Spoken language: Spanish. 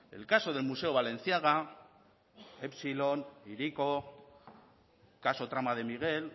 el caso del museo balenciaga epsilon hiriko caso trama de miguel